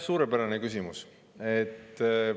Suurepärane küsimus!